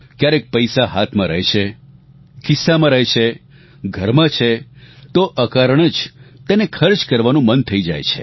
ક્યારેક પૈસા હાથમાં રહે છે ખિસ્સામાં રહે છે ઘરમાં છે તો અકારણ જ તેને ખર્ચ કરવાનું મન થઇ જાય છે